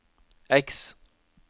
X